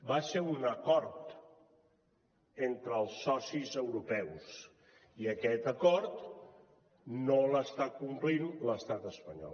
va ser un acord entre els socis europeus i aquest acord no l’està complint l’estat espanyol